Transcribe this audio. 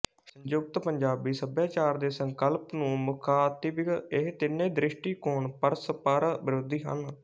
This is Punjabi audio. ਸੰਯੁਕਤ ਪੰਜਾਬੀ ਸਭਿਆਚਾਰ ਦੇ ਸੰਕਲਪ ਨੂੰ ਮੁਖ਼ਾਤਿਬ ਇਹ ਤਿੰਨੇ ਦ੍ਰਿਸ਼ਟੀਕੋਣ ਪਰਸਪਰ ਵਿਰੋਧੀ ਹਨ